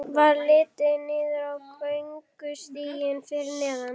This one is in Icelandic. Varð litið niður á göngustíginn fyrir neðan.